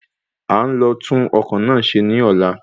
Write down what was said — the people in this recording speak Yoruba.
A ó lọ tún ọkọ́ náà ṣe ní ọ̀la